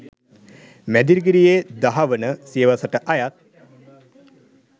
මැදිරිගිරියේ දහවන සියවසට අයත්